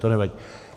To nevadí.